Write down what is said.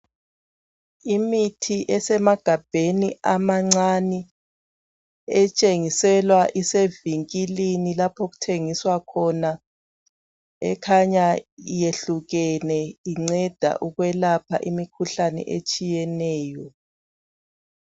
Imithi esemagabheni amancane etshengiselwa isevikilini lapho okuthengiswa khona ekhanya iyehlukene inceda ukwelapha imikhuhlane etshiyeneyo.